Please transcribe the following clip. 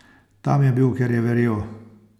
Tam je bil, ker je verjel.